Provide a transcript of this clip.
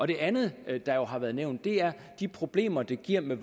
det andet der har været nævnt er de problemer det giver med